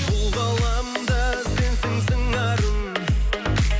бұл ғаламда сенсің сыңарым